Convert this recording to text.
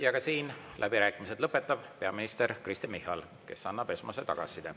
Ja ka siin lõpetab läbirääkimised peaminister Kristen Michal, kes annab esmase tagasiside.